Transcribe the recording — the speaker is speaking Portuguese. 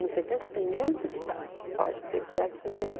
Nos anos setenta tem muito disso, você pode pesquisar que você vai ver.